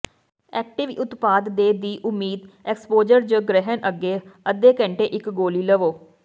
active ਉਤਪਾਦ ਦੇ ਦੀ ਉਮੀਦ ਐਕਸਪੋਜਰ ਜ ਗ੍ਰਹਿਣ ਅੱਗੇ ਅੱਧੇ ਘੰਟੇ ਇੱਕ ਗੋਲੀ ਲਵੋ